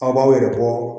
Aw b'aw yɛrɛ bɔ